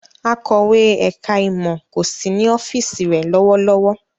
Akọ̀wé ẹ̀ka-ìmọ̀ kò sí ní ọ́fíísì rẹ̀ lọ́wọ́lọ́wọ́.